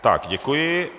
Tak děkuji.